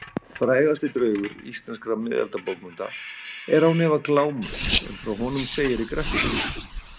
Frægasti draugur íslenskra miðaldabókmennta er án efa Glámur en frá honum segir í Grettis sögu.